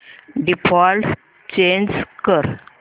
default change कर